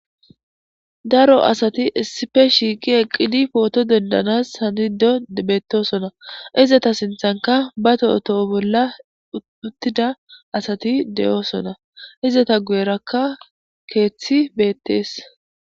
Daro asati issife shiiqi eqqidi pooto dondanas hanido debetosona izata sinthanka ba to'otoho bolla uttida asati de'oosona izata gu'erakka keeththi beettees